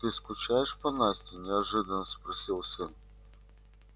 ты скучаешь по насте неожиданно спросил сын